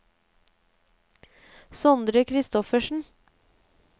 Sondre Christoffersen